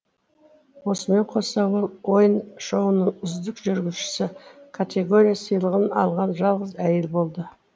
осымен қоса ол ойын шоуының үздік жүргізушісі категория сыйлығын алған жалғыз әйел болды